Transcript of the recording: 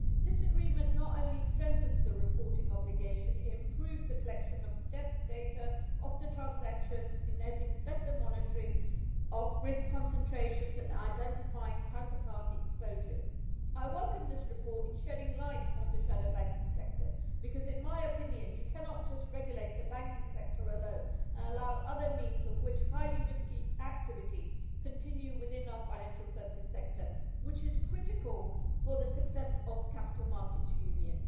This agreement not only strengthens the reporting obligation, it also improves the collection of data on the transactions, enabling better monitoring of risk concentrations and identifying counterparty exposures. I welcome this report on shedding light on the shadow banking sector, because in my opinion you cannot just regulate the banking sector alone and allow other means through which highly risky activities continue within our financial services sector, which is critical for the success of the capital markets union.